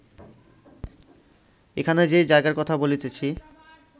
এখানে যে জায়গার কথা বলিতেছি